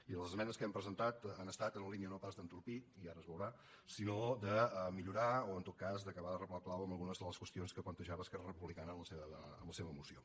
i les esmenes que hem presentat han estat en la línia no pas d’entorpir i ara es veurà sinó de millorar o en tot cas acabar de reblar el clau en algunes de les qüestions que plantejava esquerra republicana en la seva moció